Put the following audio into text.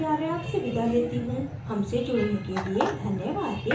IIT Bombay से मैं श्रुति आर्य अब आपसे विदा लेती हूँ हमसे जुड़ने के लिए धन्यवाद